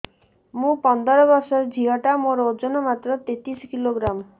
ମୁ ପନ୍ଦର ବର୍ଷ ର ଝିଅ ଟା ମୋର ଓଜନ ମାତ୍ର ତେତିଶ କିଲୋଗ୍ରାମ